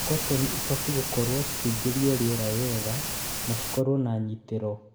Kotoni ibatiĩ gũkorwo cikĩingĩria rĩera wega na cikorwo na nyitĩro